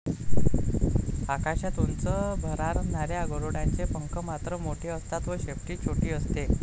आकाशात उंच भरारणाऱ्या गरुडांचे पंख मात्र मोठे असतात व शेपटी छोटी असते.